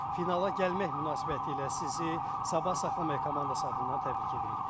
Finala gəlmək münasibətilə sizi sabah saxlamaq komandası adından təbrik edirik.